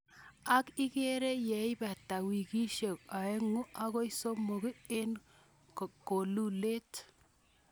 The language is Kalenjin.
Ak ikerer yeibata wikisiek oeng'u akoi somok en kolulet.